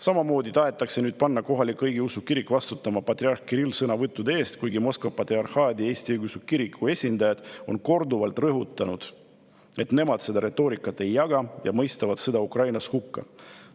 Samamoodi tahetakse nüüd panna kohalik õigeusu kirik vastutama patriarh Kirilli sõnavõttude eest, kuigi Moskva Patriarhaadi Eesti Õigeusu Kiriku esindajad on korduvalt rõhutanud, et nemad seda retoorikat ei jaga ja mõistavad sõja Ukrainas hukka.